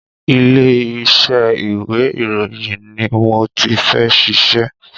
Ilé iṣẹ́ ìwé ìròyìn ni mo ti fẹ́ ṣiṣẹ́.